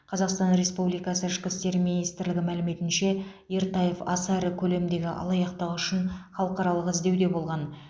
қазақстан республикасы ішкі істер министрлігі мәліметінше ертаев аса ірі көлемдегі алаяқтығы үшін халықаралық іздеуде болған